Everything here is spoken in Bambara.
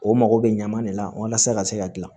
O mago bɛ ɲaman de la walasa ka se ka dilan